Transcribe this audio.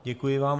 Děkuji vám.